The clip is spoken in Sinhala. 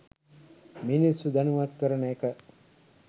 මිනිස්සු දැනුවත් කරන එක